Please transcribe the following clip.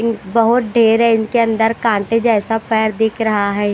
बहुत ढेर है इनके अंदर कांटे जैसा पैर दिख रहा है।